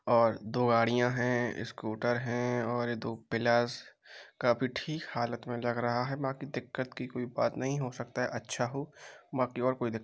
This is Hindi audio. और दो गाड़ियां है। स्कूटर है और दो पिलरस काफी ठीक हालत में लग रहा है। बाकी दिक्कत की कोई बात नहीं हो सकता है। अच्छा हो बाकी और कोई दिक्कत --